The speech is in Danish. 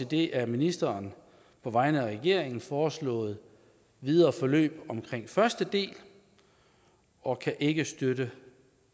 det af ministeren på vegne af regeringen foreslåede videre forløb omkring første del og kan ikke støtte